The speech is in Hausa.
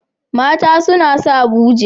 Mata suna sa buje.